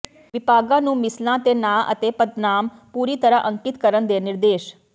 ਵਿਭਾਗਾਂ ਨੁੰ ਮਿਸਲਾਂ ਤੇ ਨਾਂ ਅਤੇ ਪਦਨਾਮ ਪੂਰੀ ਤਰ੍ਹਾਂ ਅਕਿੰਤ ਕਰਨ ਦੇ ਨਿਰਦੇਸ਼